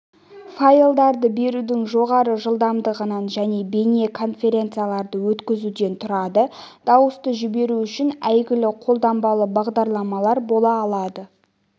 файлдарды берудің жоғары жылдамдығынан және бейне конференцияларды өткізуден тұрады дауысты жіберу үшін әйгілі қолданбалы бағдарламалар бола алады